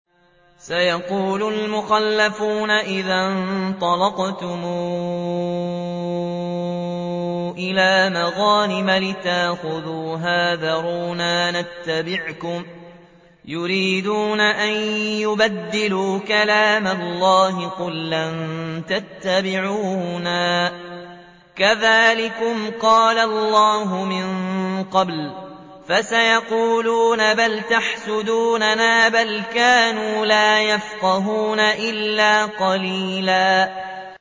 سَيَقُولُ الْمُخَلَّفُونَ إِذَا انطَلَقْتُمْ إِلَىٰ مَغَانِمَ لِتَأْخُذُوهَا ذَرُونَا نَتَّبِعْكُمْ ۖ يُرِيدُونَ أَن يُبَدِّلُوا كَلَامَ اللَّهِ ۚ قُل لَّن تَتَّبِعُونَا كَذَٰلِكُمْ قَالَ اللَّهُ مِن قَبْلُ ۖ فَسَيَقُولُونَ بَلْ تَحْسُدُونَنَا ۚ بَلْ كَانُوا لَا يَفْقَهُونَ إِلَّا قَلِيلًا